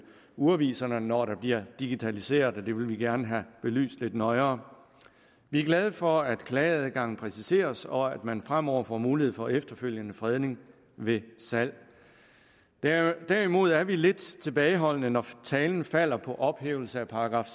urviserne når der bliver digitaliseret det vil vi gerne have belyst lidt nøjere vi er glade for at klageadgangen præciseres og at man fremover får mulighed for efterfølgende fredning ved salg derimod er vi lidt tilbageholdende når talen falder på ophævelse af §